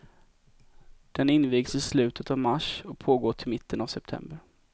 Den invigs i slutet av mars och pågår till mitten av september.